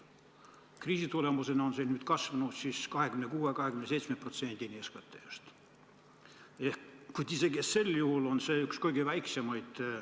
Kriisi tõttu on see nüüd 26–27% SKT-st, kuid isegi sellisena on see Euroopa Liidus üks kõige väiksemaid.